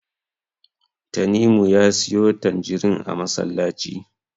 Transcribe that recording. Tanimu ya siyo tanjirin a masallaci.